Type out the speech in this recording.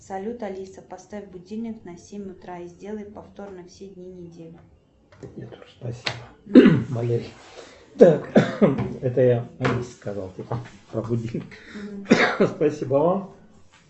салют алиса поставь будильник на семь утра и сделай повтор на все дни недели